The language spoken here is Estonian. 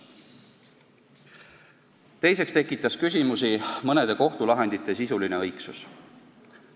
Teiseks tekitas küsimusi mõnede kohtulahendite sisuline õigsus.